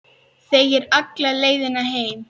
Þegir alla leiðina heim.